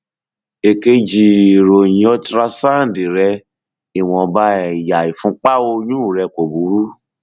èkejì ìròyìn ultrasound rẹ ìwọnba ẹyà ìfúnpá ọyún rẹ kò burú